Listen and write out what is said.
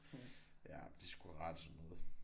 Ja de har sgu ret i noget